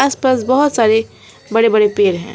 आसपास बहुत सारे बड़े बड़े पेड़ हैं।